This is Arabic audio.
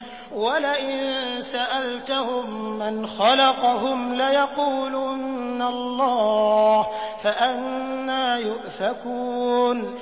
وَلَئِن سَأَلْتَهُم مَّنْ خَلَقَهُمْ لَيَقُولُنَّ اللَّهُ ۖ فَأَنَّىٰ يُؤْفَكُونَ